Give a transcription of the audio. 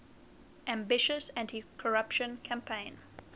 ambitious anticorruption campaign